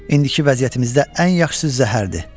İndiki vəziyyətimizdə ən yaxşısı zəhərdir.